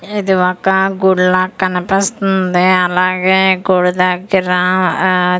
ఇది ఒక గుడిలా కనిపిస్తుంది అలాగే గుడి దగ్గరా ఆ--